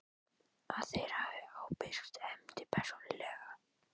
að þeir hafi ábyrgst efndir persónulega.